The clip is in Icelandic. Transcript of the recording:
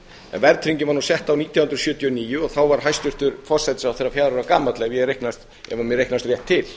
en verðtryggingin var nú sett á nítján hundruð sjötíu og níu þá var hæstvirtur forsætisráðherra fjögurra ára gamall ef mér reiknast rétt til